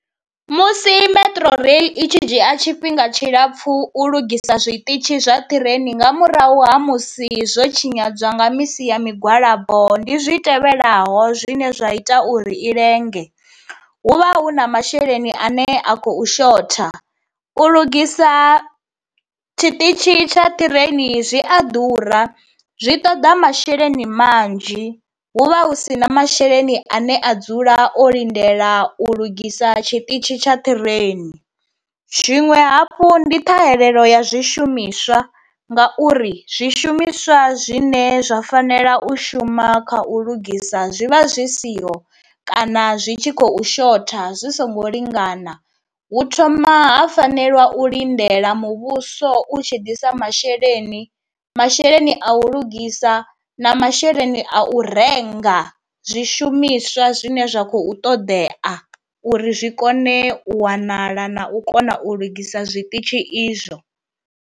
Musi Metro rail i tshi dzhia tshifhinga tshilapfu u lugisa zwiṱitshi zwa ṱireini nga murahu ha musi zwo tshinyadzwa nga misi ya migwalabo ndi zwi tevhelaho zwine zwa ita uri i lenge, hu vha hu na masheleni ane a khou shotha, u lugisa tshiṱitshi tsha ṱireini zwi a ḓura zwi ṱoḓa masheleni manzhi, hu vha hu si na masheleni ane a dzula o lindela u lugisa tshiṱitshi tsha ṱireini, zwiṅwe hafhu ndi ṱhahelelo ya zwishumiswa, nga uri zwishumiswa zwine zwa fanela u shuma kha u lugisa zwi vha zwi siho kana zwi tshi khou shotha zwi songo lingana, hu thoma ha fanelwa u lindela muvhuso u tshi ḓisa masheleni, masheleni a u lugisa na masheleni a u renga zwishumiswa zwine zwa khou ṱoḓea uri zwi kone u wanala na u kona u lugisa zwiṱitshi izwo.